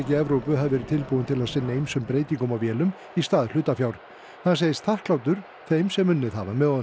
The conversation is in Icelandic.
í Evrópu hafi verið tilbúin til að sinna ýmsum breytingum á vélum í stað hlutafjár hann segist þakklátur þeim sem unnið hafa með honum